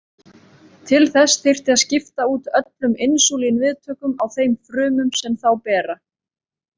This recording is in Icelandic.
Til þess þyrfti að skipta út öllum insúlín-viðtökum á þeim frumum sem þá bera.